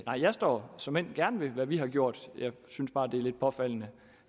jeg står såmænd gerne ved hvad vi har gjort jeg synes bare det er lidt påfaldende